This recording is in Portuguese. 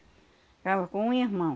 Ficava com um irmão.